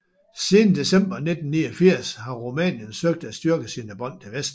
Siden december 1989 har Rumænien søgt at styrke sine bånd til Vesten